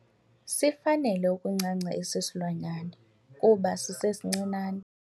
Sifanele ukuncanca esi silwanyana kuba sisesincinane.